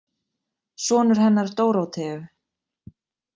Sonur hennar Dóróteu.